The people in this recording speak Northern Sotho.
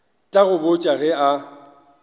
tla go botša ge a